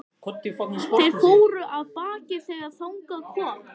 Þeir fóru af baki þegar þangað kom.